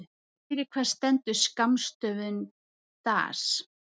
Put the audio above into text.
Fyrir hvað stendur skammstöfunin DAS?